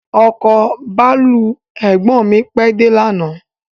Ọkọ̀ bàálù ẹ̀gbọ́n mi pèé de lànàá